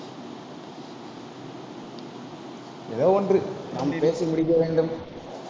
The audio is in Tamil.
ஏதோ ஒன்று, நான் பேசி முடிக்க வேண்டும்.